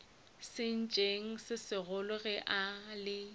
sentšeng se segolo ge le